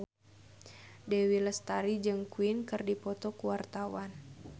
Dewi Lestari jeung Queen keur dipoto ku wartawan